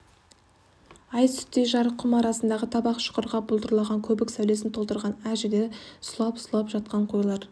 ай сүттей жарық құм арасындағы табақ шұқырға бұлдыраған көбік сәулесін толтырған әр жерде сұлап-сұлап жатқан қойлар